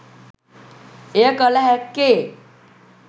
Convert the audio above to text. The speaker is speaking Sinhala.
එය කළ හැක්කේ